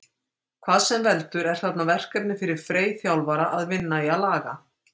Hvað sem veldur er þarna verkefni fyrir Frey þjálfara að vinna í að laga.